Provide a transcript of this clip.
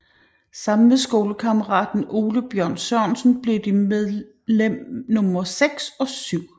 Sammen med skolekammeraten Ole Bjørn Sørensen blev de medlem nummer seks og syv